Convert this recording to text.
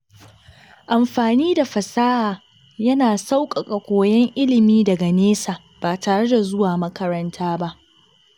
Amfani da fasaha yana sauƙaƙa koyon ilimi daga nesa ba tare da zuwa makaranta ba.